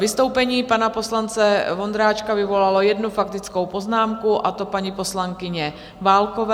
Vystoupení pana poslance Vondráčka vyvolalo jednu faktickou poznámku, a to paní poslankyně Válkové.